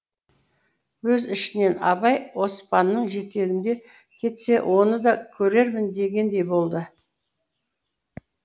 өз ішінен абай оспанның жетегінде кетсе оны да көрермін дегендей болды